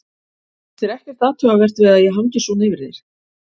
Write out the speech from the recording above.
Finnst þér ekkert athugavert við að ég hangi svona yfir þér?